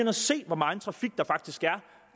at se hvor megen trafik der faktisk er